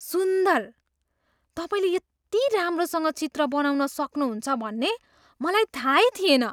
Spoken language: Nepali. सुन्दर! तपाईँले यति राम्रोसँग चित्र बनाउन सक्नुहुन्छ भन्ने मलाई थाहै थिएन!